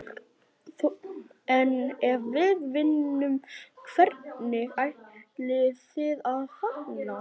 Þórhildur: En ef við vinnum, hvernig ætlið þið að fagna?